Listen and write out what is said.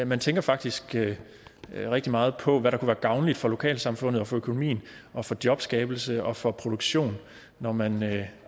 man tænker faktisk rigtig meget på hvad der være gavnligt for lokalsamfundet og for økonomien og for jobskabelse og for produktion når man